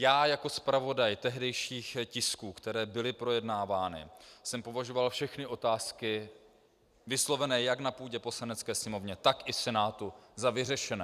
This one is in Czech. Já jako zpravodaj tehdejších tisků, které byly projednávány, jsem považoval všechny otázky vyslovené jak na půdě Poslanecké sněmovny, tak i Senátu za vyřešené.